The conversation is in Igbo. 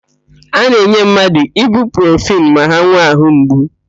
A na-enye mmadụ ibuprofenu ma ha nwee àhụ́ mgbu.